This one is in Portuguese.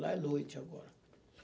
Lá é noite agora.